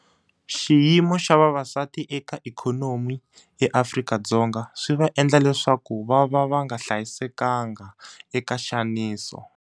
Xiyimo xa vavasati eka ikhonomi eAfrika-Dzonga swi va endla leswaku vava va nga hlayisekanga eka nxaniso.